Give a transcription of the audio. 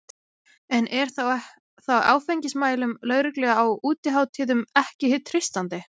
En er þá áfengismælum lögreglu á útihátíðum ekki treystandi?